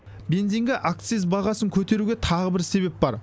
бензинге акциз бағасын көтеруге тағы бір себеп бар